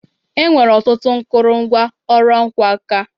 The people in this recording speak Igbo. E nwere ọtụtụ nkụrụngwa ọrụ ọkwa nka.